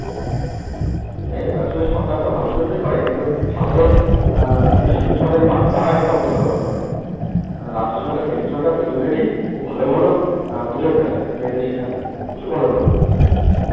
এই ব্যাপার আসলে সরকার তো ভালোর জন্যই করে কিন্তু সাধারণ আ কিছু সুযোগ মানুষ তারা এটার অপব্যবহার করে। রাজ্য সরকার কেন্দ্র সরকার দুজনেরই খুব ভালো ভালো প্রোজেক্ট আছে মেয়েদের শিক্ষার নিয়ে প্রচুর ভালো ভালো প্রোজেক্ট আছে।